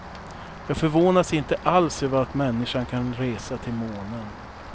Jag förvånas inte alls över att människan kan resa till månen.